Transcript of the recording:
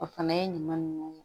O fana ye ɲuman nunnu